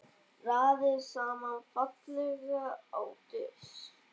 Raðið saman fallega á disk.